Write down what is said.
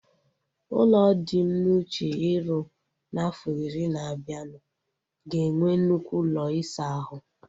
Ụlọ dị m n'uche iru na afo iri na abianu ga enwe nnukwu ụlọ isa ahu